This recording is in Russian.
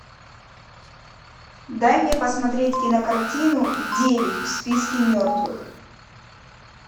дай мне посмотреть кинокартину девять в списке мертвых